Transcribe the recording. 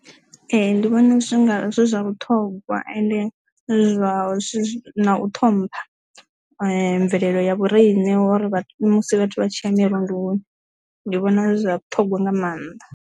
Ee, ndi vhona zwi zwa vhuṱhongwa and zwi vha zwi na u ṱhompha mvelele ya vhorine uri musi vhathu vha tshi ya mirunduni ndi vhona zwi zwa vhuṱhogwa nga maanḓa.